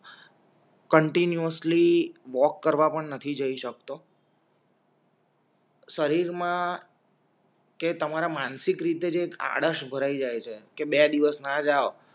continuously walk કરવા પણ નથી જઈ શકતો શરીર મા કે તમારા માનસિક રીતે જ એક આડસ ભરાઈ જાય છે કે બે દિવસ ના જાઓ